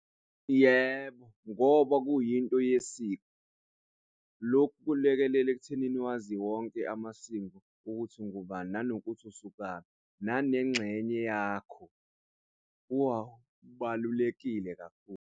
Yebo, ngoba kuyinto yesiko. Lokhu kulekelela ekuthenini wazi wonke amasiko, ukuthi ungubani nanokuthi usukaphi nanengxenye yakho kubalulekile kakhulu.